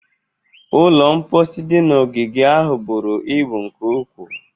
Ụlọ mposi dị na ogige ahụ buru ibu nke ukwuu.